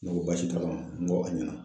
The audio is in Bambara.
Ne ko baasi t'a la n ko a ɲɛna.